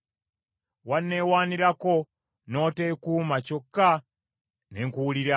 Wanneewanirako, n’oteekuma, kyokka ne nkuwulira.